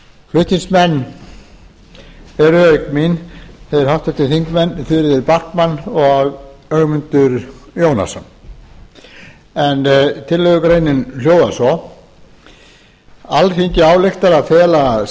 flutningsmenn eru auk mín þau háttvirtir þingmenn þuríður backman og ögmundur jónasson en tillögugreinin hljóðar svo alþingi ályktar að fela